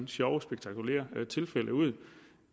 sjove spektakulære tilfælde ud